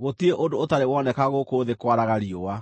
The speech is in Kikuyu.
gũtirĩ ũndũ ũtarĩ woneka gũkũ thĩ kwaraga riũa.